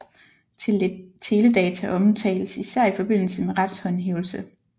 Teledata omtales især i forbindelse med retshåndhævelse